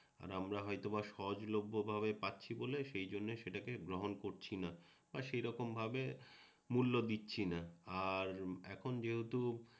আমরা হয়তোবা সহজলভ্য ভাবে পাচ্ছি বলে সেইজন্য সেটাকে গ্রহণ করছিনা বা সেইরকমভাবে মূল্য দিচ্ছি না আর এখন যেহেতু